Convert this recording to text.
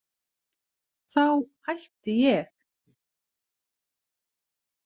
Þá hætti ég.